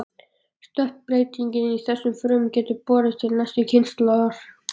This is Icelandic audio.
Stökkbreyting í þessum frumum getur borist til næstu kynslóðar.